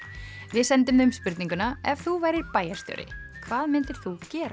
við sendum þeim spurninguna ef þú værir bæjarstjóri hvað myndir þú gera